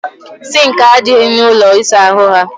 Sinki adịghị na ụlọ ịsa ahụ ha